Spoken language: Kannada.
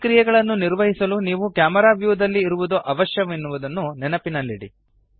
ಈ ಕ್ರಿಯೆಗಳನ್ನು ನಿರ್ವಹಿಸಲು ನೀವು ಕ್ಯಾಮೆರಾ ವ್ಯೂ ದಲ್ಲಿ ಇರುವದು ಅವಶ್ಯ ಎನ್ನುವದನ್ನು ನೆನಪಿನಲ್ಲಿಡಿ